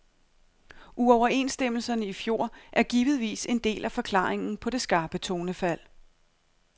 Uoverenstemmelserne i fjor er givetvis en del af forklaringen på det skarpe tonefald.